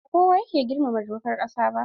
Ba kowa yake girmama dokar ƙasa ba.